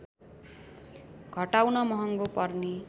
घटाउन महँगो पर्ने